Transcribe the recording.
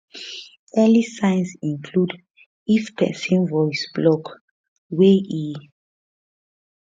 early signs include if if pesin voice block wey e